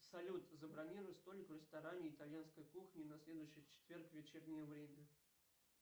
салют забронируй столик в ресторане итальянской кухни на следующий четверг вечернее время